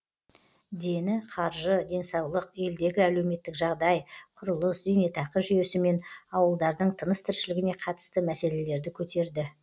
дені қаржы денсаулық елдегі әлеуметтік жағдай құрылыс зейнетақы жүйесі мен ауылдардың тыныс тіршілігіне қатысты мәселелерді көтерді